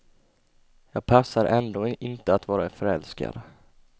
Jag passar ändå inte att vara förälskad.